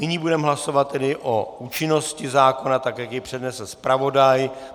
Nyní budeme hlasovat tedy o účinnosti zákona, tak jak ji přednesl zpravodaj.